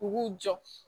U k'u jɔ